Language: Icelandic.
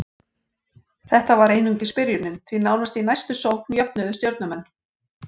Þetta var einungis byrjunin, því nánast í næstu sókn jöfnuðu Stjörnumenn.